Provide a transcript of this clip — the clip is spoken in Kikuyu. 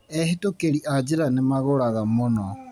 Ehĩtkĩri a njĩra nĩ magũraga mũno.